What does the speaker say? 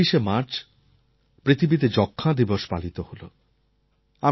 গত ২৪শে মার্চ পৃথিবীতে যক্ষ্মা দিবস পালিত হল